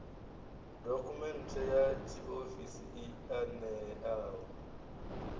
dokhumenthe ya tshiofisi i ṋeaho